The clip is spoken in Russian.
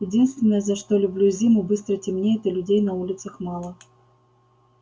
единственное за что люблю зиму быстро темнеет и людей на улицах мало